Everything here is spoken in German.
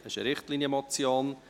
Es ist eine Richtlinienmotion.